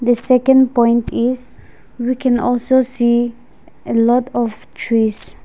second point is we can also see a lot of trees.